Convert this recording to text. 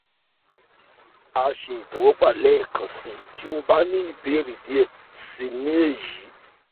a ṣe itẹwọgba lẹẹkansi ti o ba ni ibeere diẹ sii ni eyi